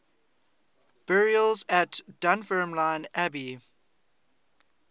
burials at dunfermline abbey